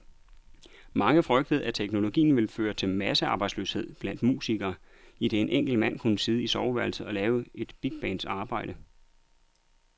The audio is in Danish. Mange frygtede, at teknologien ville føre til massearbejdsløshed blandt musikere, idet en enkelt mand kunne sidde i soveværelset og lave et bigbands arbejde.